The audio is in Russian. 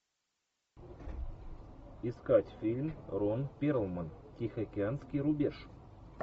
искать фильм рон перлман тихоокеанский рубеж